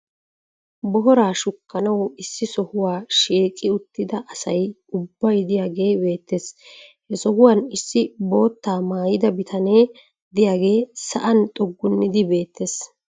booraa shukkanawu issi sohuwa shiiqqi uttida asay ubbay diyaagee beetees. he sohuwan issi bootaa maayida bitanee diyaagee sa'an xuggunidi beetees.